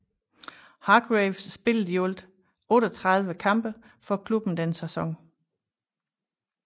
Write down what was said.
Hargreaves spillede i alt 38 kampe for klubben den sæson